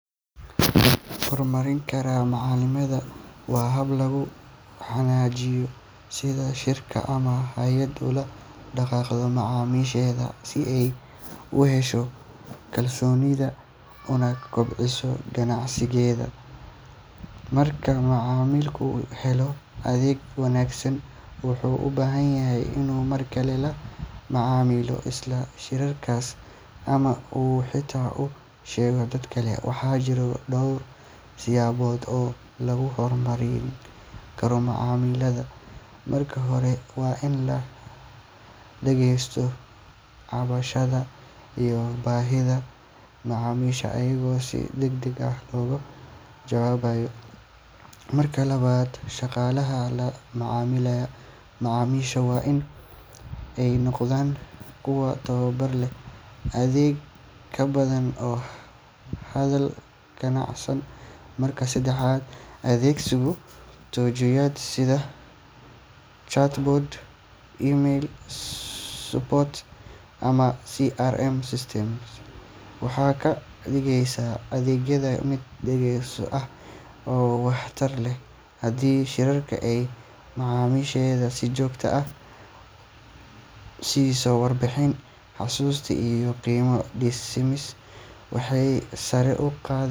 Horumarin kara macaamilada waa hab lagu wanaajinayo sida shirkad ama hay’ad ula dhaqanto macaamiisheeda si ay u hesho kalsoonidooda una kobciso ganacsigeeda. Marka macaamilku helo adeeg wanaagsan, wuxuu u badan yahay inuu markale la macaamilo isla shirkaddaas ama uu xitaa u sheego dad kale. Waxaa jira dhowr siyaabood oo lagu horumarin karo macaamilada. Marka hore, waa in la dhageysto cabashada iyo baahida macaamiisha iyadoo si degdeg ah looga jawaabayo. Marka labaad, shaqaalaha la macaamilaya macaamiisha waa in ay noqdaan kuwa tababar leh, edeb badan oo hadal dabacsan. Marka saddexaad, adeegsiga tignoolajiyada sida chatbots, email support, ama CRM systems waxay ka dhigeysaa adeegga mid dhakhso ah oo waxtar leh. Haddii shirkad ay macaamiisheeda si joogto ah u siiso warbixin, xusuusin iyo qiimo dhimis, waxay sare u